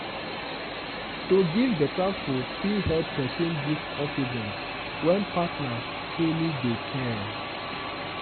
to give better food fit help person build confidence when partner truly dey care.